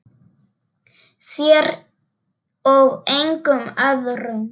Þér og engum öðrum.